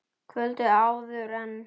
Kvöldið áður en